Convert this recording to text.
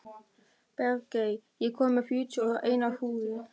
Bergey, ég kom með fjörutíu og eina húfur!